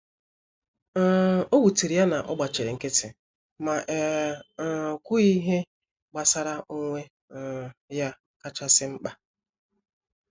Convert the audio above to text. um Owutere ya na ogbachiri nkiti, ma e um kwughi ihe gbasara onwe um ya kacha si mpka.